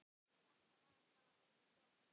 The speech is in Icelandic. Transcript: Þetta var bara orðið gott.